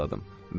pıçıldadım.